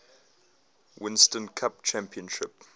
winston cup championship